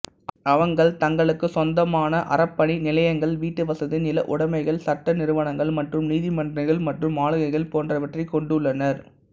அவங்கள் தங்களுக்கு சொந்தமான அறப்பணி நிலையங்கள் வீட்டுவசதி நிலஉடமைகள் சட்ட நிறுவனங்கள் மற்றும் நிதிமன்றங்கள் மற்றும் ஆளுகைகள் போன்றவற்றைக் கொண்டுள்ளனர்